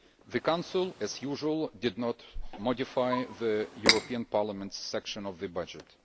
The Council, as usual, did not modify the European Parliament's section of the budget.